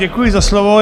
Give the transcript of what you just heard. Děkuji za slovo.